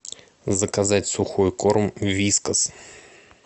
заказать сухой корм вискас